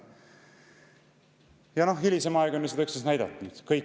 Ja noh, hilisem aeg on seda näidanud.